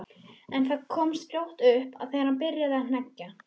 En það komst fljótlega upp þegar hann byrjaði að hneggja.